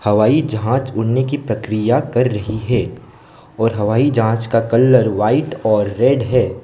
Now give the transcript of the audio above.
हवाई जहाज उड़ने की प्रक्रिया कर रही है और हवाई जहाज का कलर व्हाइट और रेड है।